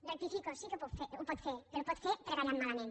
rectifico sí que ho pot fer però ho pot fer treballant malament